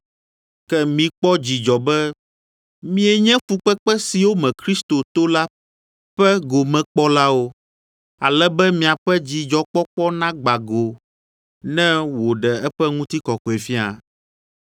Ke mikpɔ dzidzɔ be mienye fukpekpe siwo me Kristo to la ƒe gomekpɔlawo, ale be miaƒe dzidzɔkpɔkpɔ nagbã go ne wòɖe eƒe Ŋutikɔkɔefia.